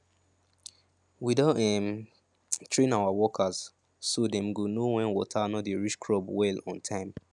we don um train our workers so dem go know when water no dey reach crops well on time